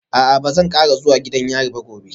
A'a ba zan kara zuwa gidan yari ba gobe